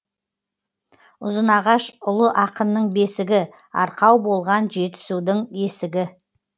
ұзынағаш ұлы ақынның бесігі арқау болған жетісудың есігі